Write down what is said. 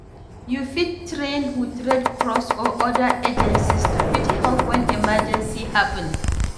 You fit train with red cross or oda agencies to fit help when emergency happen